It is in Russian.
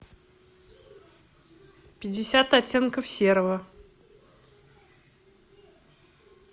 пятьдесят оттенков серого